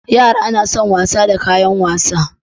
Yara na son wasa da kayan wasa